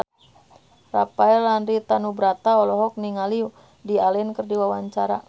Rafael Landry Tanubrata olohok ningali Woody Allen keur diwawancara